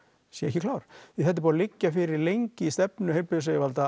sé ekki klár því þetta er búið að liggja fyrir lengi í stefnu heilbrigðisyfirvalda